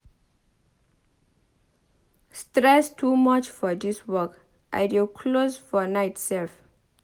Stress too much for dis my work. I dey close for night sef.